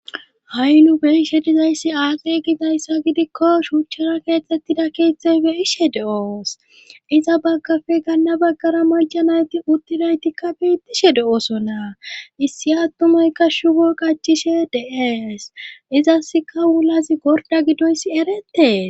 ha'i nu be'she dizayssi aaze gidayssa gidikko shuuchchara keexettida keexthey beyishe de'oss iza baggappe ganna baggara macanayti uttidaytikka betishshe de'osona issi attumaykka shubbo qachishshe de'ees izaskka wulazi gorda gidoyssi eretees